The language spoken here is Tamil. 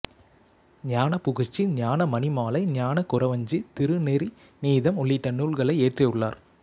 ஞானபுகழ்ச்சி ஞானமணிமாலை ஞானகுறவஞ்சி திருநெறி நீதம் உள்ளிட்ட நூல்களை இயற்றியுள்ளார்